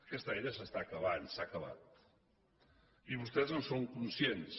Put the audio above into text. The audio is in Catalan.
aquest aire s’està acabant s’ha acabat i vostès en són conscients